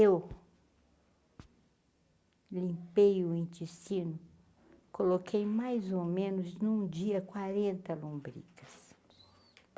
Eu, limpei o intestino, coloquei mais ou menos num dia quarenta lombrigas.